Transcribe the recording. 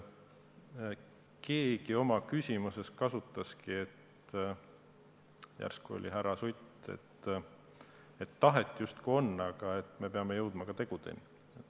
Keegi oma küsimuses kasutaski väljendit – järsku oli see härra Sutt –, et tahet justkui on, aga me peame jõudma ka tegudeni.